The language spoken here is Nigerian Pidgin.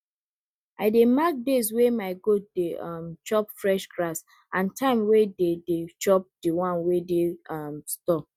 i dey mark days wey my goat dey um chop fresh grass and times wey dey dey chop di one wey dey um store